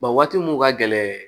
waati mun ka gɛlɛn